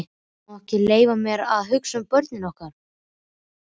Ég má ekki leyfa mér að hugsa um börnin okkar.